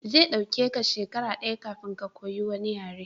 Zai ɗauke ka shekara daya kafin ka koyi wani yare